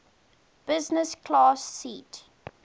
business class seat